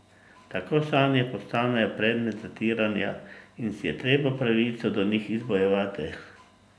Tako sanje postanejo predmet zatiranja in si je treba pravico do njih izbojevati.